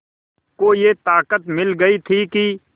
को ये ताक़त मिल गई थी कि